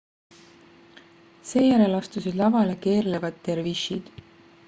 seejärel astusid lavale keerlevad dervišid